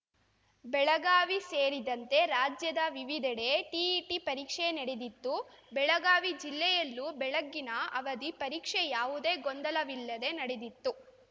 ಬೆಳಗಾವಿ ಸೇರಿದಂತೆ ರಾಜ್ಯದ ವಿವಿಧೆಡೆ ಟಿಇಟಿ ಪರೀಕ್ಷೆ ನಡೆದಿತ್ತು ಬೆಳಗಾವಿ ಜಿಲ್ಲೆಯಲ್ಲೂ ಬೆಳಗ್ಗಿನ ಅವಧಿ ಪರೀಕ್ಷೆ ಯಾವುದೇ ಗೊಂದಲವಿಲ್ಲದೇ ನಡೆದಿತ್ತು